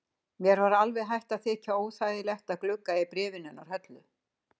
Mér var alveg hætt að þykja óþægilegt að glugga í bréfin hennar Höllu.